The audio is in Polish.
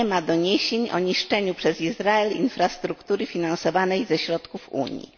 nie ma doniesień o niszczeniu przez Izrael infrastruktury finansowanej ze środków Unii.